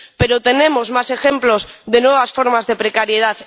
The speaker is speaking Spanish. Pero tenemos más ejemplos de nuevas formas de precariedad.